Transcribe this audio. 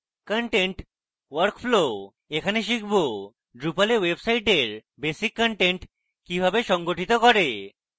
content workflowএখানে শিখব drupal এ ওয়েবসাইটের বেসিক content কিভাবে সংগঠিত করে